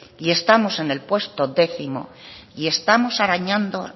y estamos en el puesto décimo y estamos arañando